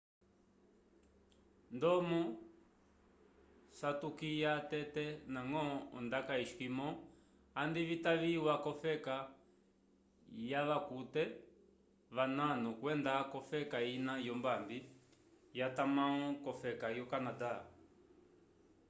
ndomo satukwya tete nagõ ondaka eskimó andi vitaviwa cofeka yavakute vanano kwenda cofeka ina yombambi jatambangõ cofeka yo canadá